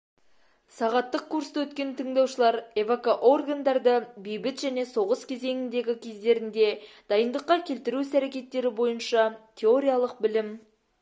сағаттық курсты өткен тыңдаушылар эвакоорогандарды бейбіт және соғыс кезеңіндегі кездерінде дайындыққа келтіру іс-әрекеттері бойынша теориялық білім